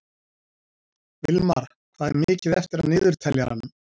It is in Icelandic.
Vilmar, hvað er mikið eftir af niðurteljaranum?